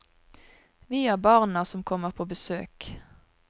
Vi er barna som kommer på besøk.